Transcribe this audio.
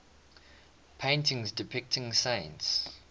paintings depicting saints